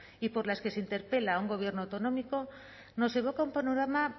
y por las que se interpela a un gobierno autonómico nos evoca un panorama